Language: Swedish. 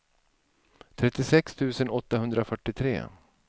trettiosex tusen åttahundrafyrtiotre